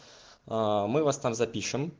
а мы вас там запишем